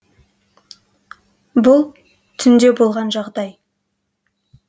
бұл түнде болған жағдай